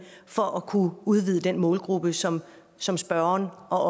for at kunne udvide den målgruppe som som spørgeren og